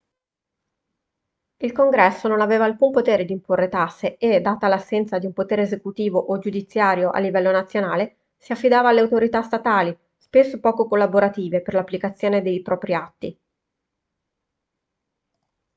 il congresso non aveva alcun potere di imporre tasse e data l'assenza di un potere esecutivo o giudiziario a livello nazionale si affidava alle autorità statali spesso poco collaborative per l'applicazione dei propri atti